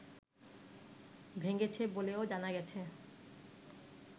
ভেঙেছে বলেও জানা গেছে